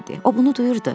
O bunu duyurdu.